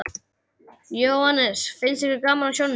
Jóhannes: Finnst ykkur gaman á sjónum?